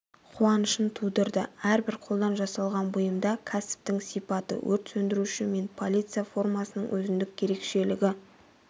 қуанышын тудырды әрбір қолдан жасалған бұйымда кәсіптің сипаты өрт сөндіруші мен полиция формасының өзіндік ерекшелігі